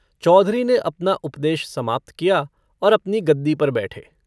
चौधरी ने अपना उपदेश समाप्त किया और अपनी गद्दी पर बैठे।